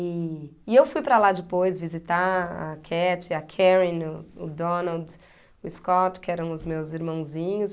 E e eu fui para lá depois visitar a Catty, a Karen, o o Donald, o Scott, que eram os meus irmãozinhos.